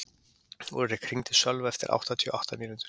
Úlrik, hringdu í Sölva eftir áttatíu og átta mínútur.